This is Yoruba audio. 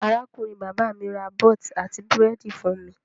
Arákùnrin-bàbá mi ra bọ́t àti búrẹ́dì fún mi.